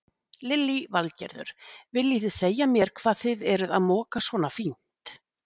Lillý Valgerður: Viljið þið segja mér hvað þið eruð að moka svona fínt?